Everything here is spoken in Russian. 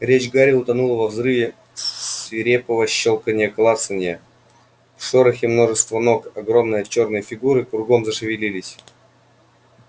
речь гарри утонула во взрыве свирепого щёлканья клацанья в шорохе множества ног огромные чёрные фигуры кругом зашевелились